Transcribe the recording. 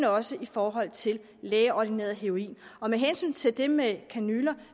også i forhold til lægeordineret heroin med hensyn til det med kanyler